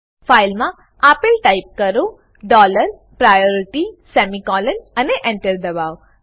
file માં આપલે type કરો ડોલર પ્રાયોરિટી સેમિકોલોન અને Enter દબાઓ